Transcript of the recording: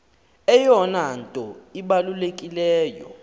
eyona nto ibalulekileyo